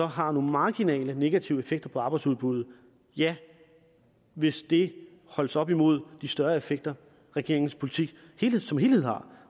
har nogle marginale negative effekter på arbejdsudbuddet ja hvis det holdes op imod de større effekter regeringens politik som helhed har